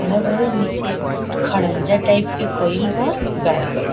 खड़ा भेलो नीचे खरंजा टाइप के कइल बा गाय बाड़ी।